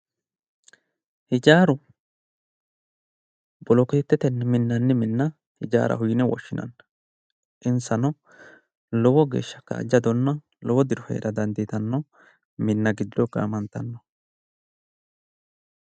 Ijaaru bolokeettetenni minnanni minna ijaaraho yine woshshinanni insano lowo geeshsha kaajjadonna lowo diro heera dandiitanno minna giddo gaamantanno